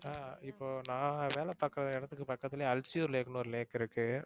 அஹ் இப்போ நான் வேலை பாக்குற இடத்துக்கு பக்கதுலேயே அல்சூர் லேக்னு ஒரு lake இருக்கு